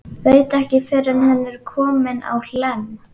Veit ekki fyrr en hann er kominn á Hlemm.